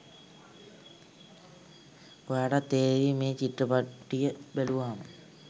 ඔයාටත් තේරේවි මේ චිත්‍රපටිය බැලුවාම.